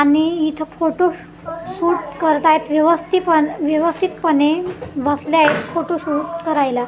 आणि इथं photo shoot करत आहेत व्यवस्थी पण व्यवस्थितपणे बसल्या आहे फोटोशुट करायला.